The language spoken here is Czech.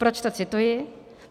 Proč to cituji?